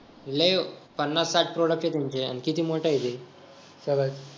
लय पन्नास-साठ product आहे त्यांचे किती मोठ आहे ते खरंच